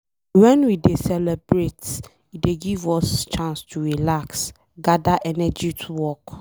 Wen we dey celebrate, e dey give us chance to relax, gada energy to work.